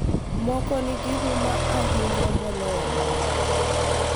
Moko nigi huma ahinya moloyo mamoko.